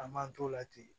An m'an t'o la ten